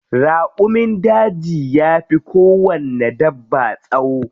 Raƙumin daji yafi kowanne dabba tsawo.